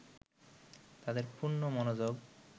তাদের পূর্ণ মনোযোগ